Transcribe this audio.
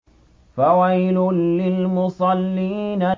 فَوَيْلٌ لِّلْمُصَلِّينَ